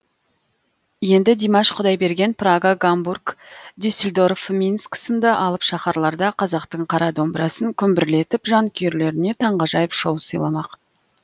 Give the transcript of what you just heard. енді димаш құдайберген прага гамбург дюсельдорф минск сынды алып шаһарларда қазақтың қара домбырасын күмбірлетіп жанкүйерлеріне таңғажайып шоу сыйламақ